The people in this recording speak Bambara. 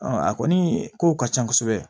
a kɔni kow ka ca kosɛbɛ